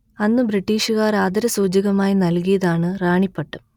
അന്ന് ബ്രിട്ടീഷ്കാർ ആദരസൂചകമായി നൽകിയതാണ് റാണി പട്ടം